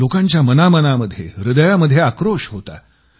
लोकांच्या मनामनामध्ये हृदयामध्ये आक्रोश होता